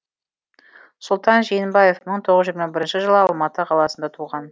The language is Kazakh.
сұлтан жиенбаев мың тоғыз жүз жиырма бірінші жылы алматы қаласында туған